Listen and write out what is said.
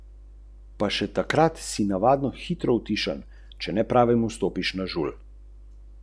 V ta namen je pristojnim v Združenem kraljestvu poslala pismo.